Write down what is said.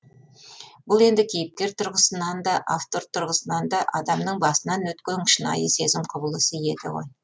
бұл енді кейіпкер тұрғысында да автор тұрғысында да адамның басынан өтетін шынайы сезім құбылысы еді ғой